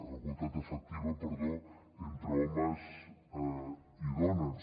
igualtat efectiva perdó entre homes i dones